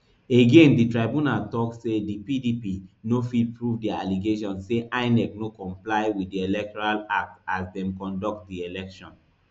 again di tribunal tok say di pdp no fit prove dia allegation say inec no comply wit di electoral act as dem conduct di election